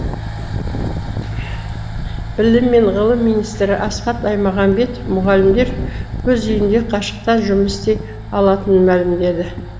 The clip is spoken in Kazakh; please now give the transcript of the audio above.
білім және ғылым министрі асхат аймағамбетов мұғалімдер өз үйінде қашықтан жұмыс істей алатынын мәлімдеді